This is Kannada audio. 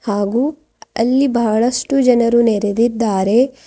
ಹಾಗೂ ಅಲ್ಲಿ ಬಹಳಷ್ಟು ಜನರು ನೆರೆದಿದ್ದಾರೆ.